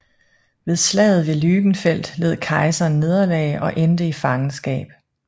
Ved slaget ved Lügenfeld led kejseren nederlag og endte i fangenskab